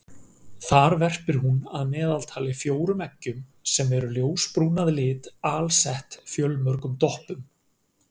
Þar verpir hún að meðaltali fjórum eggjum sem eru ljósbrún að lit alsett fjölmörgum doppum.